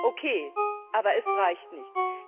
Okay, aber es reicht nicht.